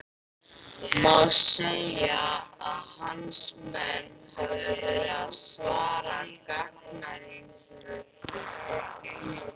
Má segja að hans menn hafi verið að svara gagnrýnisröddum?